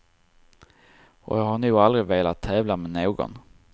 Och jag har nog aldrig velat tävla med någon.